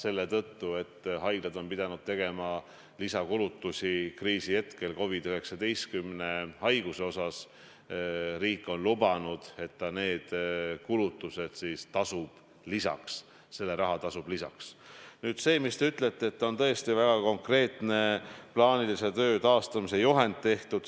Me oleme kokku leppinud, et hospitaliseerimine – me ei räägi EMO-dest, vaid hospitaliseerimisest – toimub Eestis kuues-seitsmes haiglas, kui me taastame plaanilise ravi, ülejäänud haiglatesse COVID-19 osakondadesse hospitaliseerimise korras patsiente enam ei tooda.